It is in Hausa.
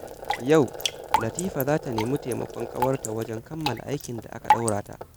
Yau, Latifa za ta nemi taimakon ƙawarta wajen kammala aikin da aka ɗora mata.